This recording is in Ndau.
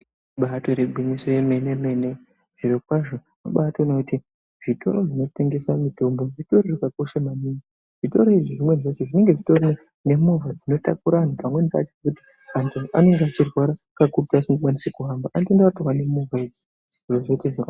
Ibatori gwinyiso remene mene zviro kwazvo unobatoona kuti zvitoro zvinotengesa mitombo zvakakoshabmaningi zvitoro izvi zvinenge zvine movha inotakura vantu pamweni pacho vantu vanenge vachirwara vanonakurwa nemota idzi zviro zviite zvakanaka.